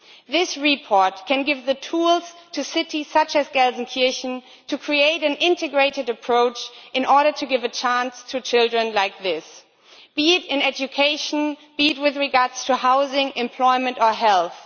This report can give the tools to cities such as Gelsenkirchen to create an integrated approach in order to give a chance to children like this, be it in education or with regard to housing, employment or health.